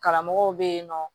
Karamɔgɔw bɛ yen nɔ